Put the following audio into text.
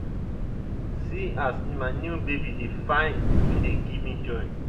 see as my new baby dey fine im dey give me joy.